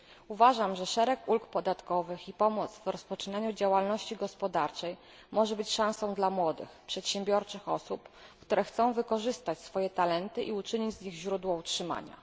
Uważam, że szereg ulg podatkowych i pomoc w rozpoczynaniu działalności gospodarczej mogą być szansą dla młodych przedsiębiorczych osób, które chcą wykorzystać swoje talenty i uczynić z nich źródło utrzymania.